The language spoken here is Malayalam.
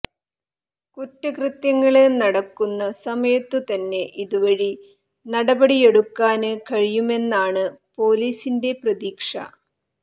കുറ്റകൃത്യങ്ങള് നടക്കുന്ന സമയത്തുതന്നെ ഇതുവഴി നടപടിയെടുക്കാന് കഴിയുമെന്നാണ് പൊലീസിന്റെ പ്രതീക്ഷ